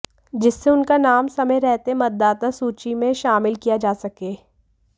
जिससे उनका नाम समय रहते मतदाता सूची में शामिल किया जा सके